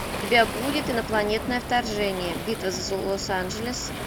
у тебя будет инопланетное вторжение битва за лос анджелес